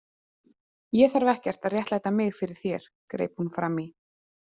Ég þarf ekkert að réttlæta mig fyrir þér, greip hún fram í.